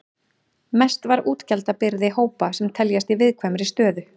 Mest var útgjaldabyrði hópa sem teljast í viðkvæmri stöðu.